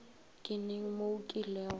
ke neng mo o kilego